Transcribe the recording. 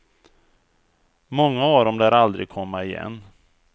Många av dem lär aldrig komma igen.